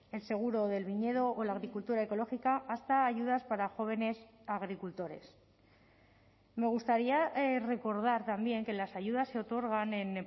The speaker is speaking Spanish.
el seguro del viñedo o la agricultura ecológica hasta ayudas para jóvenes agricultores me gustaría recordar también que las ayudas se otorgan en